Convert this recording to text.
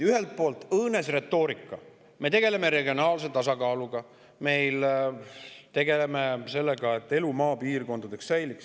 Ühelt poolt on õõnes retoorika: me tegeleme regionaalse tasakaaluga, me tegeleme sellega, et elu maapiirkondades säiliks.